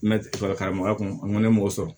Mɛtiri karamɔgɔya kun bɛ mɔgɔ sɔrɔ